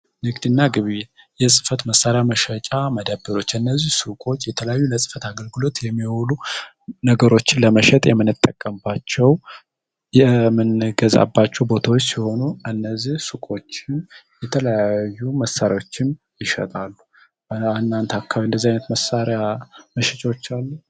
ንግድ እና ግብይት የጽፈት መሣሪያ መሻጫ መደብሮች እነዚህ ስቆች የተለያዩ ለጽፈት አገልግሎት የሚሆሉ ነገሮችን ለመሸጥ የምንጠቀባቸው ምንገዛባቸው ቦታዎች ሲሆኑ እነዚህ ሱቁችን የለዩ መሣሪዎችን ይሸጣሉ። በለአናንት አካቢ እንደዚህ ዓይነት መሳሪያ መሸጫች አሉ?